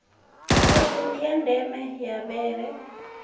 ṱhodzi ya nḓevhe ya vhele